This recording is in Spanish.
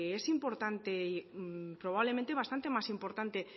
es importante y probablemente más importante